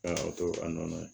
An y'a to a nɔnɔ